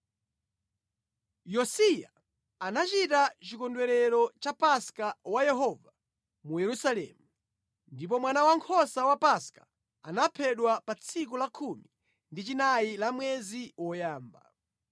Yosiya anachita chikondwerero cha Paska wa Yehova mu Yerusalemu, ndipo mwana wankhosa wa Paska anaphedwa pa tsiku la khumi ndi chinayi la mwezi woyamba.